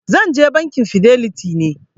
Zan je Bankin fidelity ne.